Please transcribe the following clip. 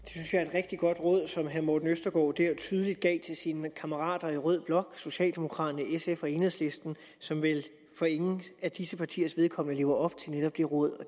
rigtig godt råd som herre morten østergaard der tydeligt gav til sine kammerater i rød blok socialdemokraterne sf og enhedslisten som vel for ingen af disse partiers vedkommende lever op til netop det råd og